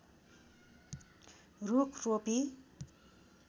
रूख रोपी